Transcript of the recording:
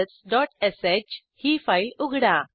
ifelseश ही फाईल उघडा